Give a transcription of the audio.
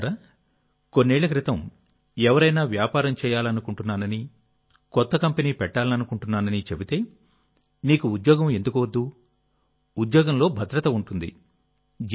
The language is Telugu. మిత్రులారా కొన్నేళ్ల క్రితం ఎవరైనా వ్యాపారం చేయాలనుకుంటున్నానని కొత్త కంపెనీ పెట్టాలనుకుంటున్నానని చెబితేనీకు ఉద్యోగం ఎందుకు వద్దు ఉద్యోగంలో భద్రత ఉంటుంది